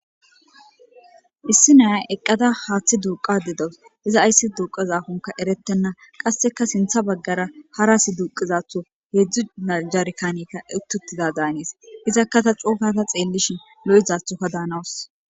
issi nayay eqqada haaththi duuqa dedawus iza ayssi duuqa zaafonka erettenna qasseka sintha baggara hara asi duuqizatho heedzdzu najarkanekka uttutida daanis izakkata cookata xeellishin lo7izathoka daanawus